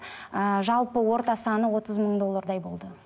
ыыы жалпы орта саны отыз мың доллардай болды